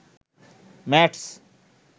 mats